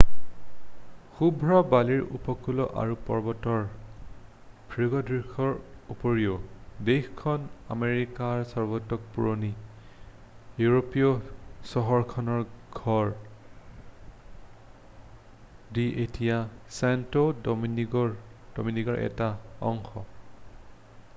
শুভ্ৰ বালিৰ উপকূল আৰু পৰ্বতৰ ভূদৃশ্যৰ উপৰিও দেশখন আমেৰিকাৰ সবাতোকৈ পুৰণি ইউৰোপীয় চহৰখনৰ ঘৰ যি এতিয়া ছেণ্টো ডোমিনিগোৰ এটা অংশ